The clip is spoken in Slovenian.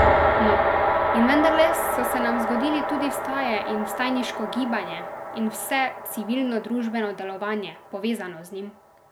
No, in vendarle so se nam zgodili tudi vstaje in vstajniško gibanje in vse civilnodružbeno delovanje, povezano z njim!